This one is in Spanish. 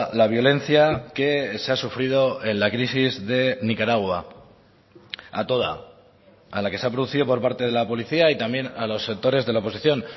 la violencia que se ha sufrido en la crisis de nicaragua a toda a la que se ha producido por parte de la policía y también a los sectores de la oposición